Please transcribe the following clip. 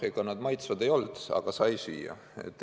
Ega nad maitsvad ei olnud, aga võis süüa.